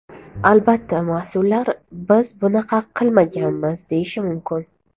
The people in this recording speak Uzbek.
Albatta mas’ullar ‘biz bunaqa qilmaganmiz’ deyishi mumkin.